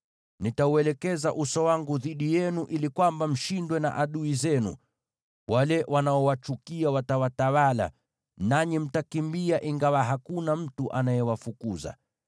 Nitauelekeza uso wangu dhidi yenu ili mshindwe na adui zenu; wale wanaowachukia watawatawala, nanyi mtakimbia ingawa hakuna mtu anayewafukuza.